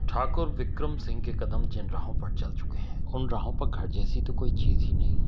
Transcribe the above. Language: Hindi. ठाकुर विक्रम सिंह के कदम जिन राहों पर चल चुके हैं उन राहों पर घर जैसी तो कोई चीज ही नहीं--